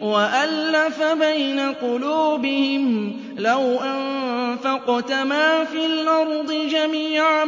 وَأَلَّفَ بَيْنَ قُلُوبِهِمْ ۚ لَوْ أَنفَقْتَ مَا فِي الْأَرْضِ جَمِيعًا